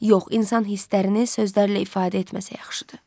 Yox, insan hisslərini sözlərlə ifadə etməsə yaxşıdır.